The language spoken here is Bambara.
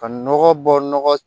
Ka nɔgɔ bɔ nɔgɔ